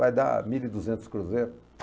Vai dar mil e duzentos cruzeiros.